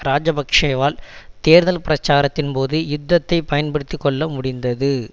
இராஜபக்ஷவால் தேர்தல் பிரச்சாரத்தின் போது யுத்தத்தை பயன்படுத்தி கொள்ள முடிந்தது